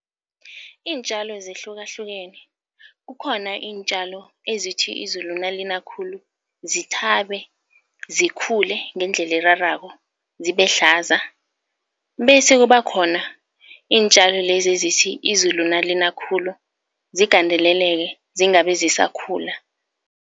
Iintjalo zihlukahlukene, kukhona iintjalo ezithi izulu nalina khulu zithabe, zikhule ngendlela erarako, zibe hlaza bese kube khona iintjalo lezi ezithi izulu nalina khulu zigandeleleke zingabe zisakhula.